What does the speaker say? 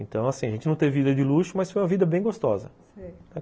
Então, assim, a gente não teve vida de luxo, mas foi uma vida bem gostosa, sei